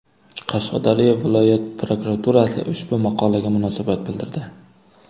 Qashqadaryo viloyat prokuraturasi ushbu maqolaga munosabat bildirdi.